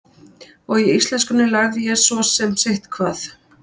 Og í íslenskunni lærði ég svo sem sitthvað.